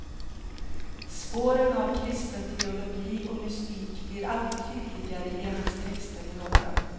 Spåren av kristen teologi och mystik blir allt tydligare i hans texter med åren.